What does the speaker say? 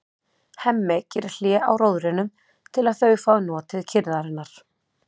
Hemmi gerir hlé á róðrinum til að þau fái notið kyrrðarinnar.